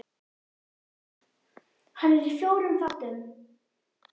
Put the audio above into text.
Hann er í fjórum þáttum.